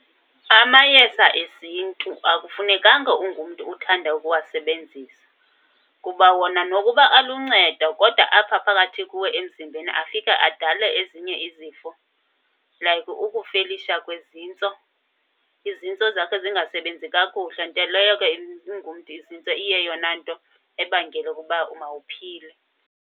Amayeza eziNtu akufunekanga ungumntu uthande ukuwasebenzisa kuba wona nokuba aluncedo. Kodwa apha phakathi kuwe emzimbeni afika adale ezinye izifo like ukufelisha kwezintso, izintso zakho zingasebenzi kakuhle. Nto leyo ke izintso iyeyona nto ibangela ukuba mawuphile.